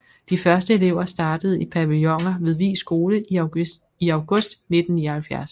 De første elever startede i pavilloner ved Vig Skole i august 1979